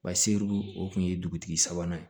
Ba seribu o tun ye dugutigi sabanan ye